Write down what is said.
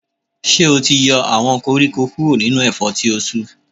Ṣé o ti yọ àwọn koríko kúrò nínú ẹ̀fọ́ tí o tu.